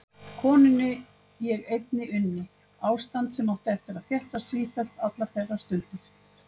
Konunni ég einni unni: Ástand sem átti eftir að þéttast sífellt allar þeirra stundir.